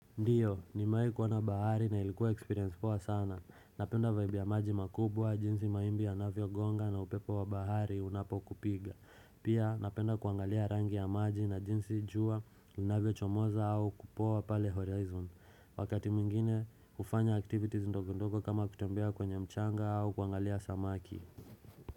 Ndiyo, nimewahi kuona bahari na ilikuwa experience poa sana. Napenda vibe ya maji makubwa, jinsi mawimbi yanavyogonga na upepo wa bahari unapokupiga. Pia napenda kuangalia rangi ya maji na jinsi jua unavyo chomoza au kupoa pale horizon. Wakati mwingine hufanya activities ndogo ndogo kama kutembea kwenye mchanga au kuangalia samaki.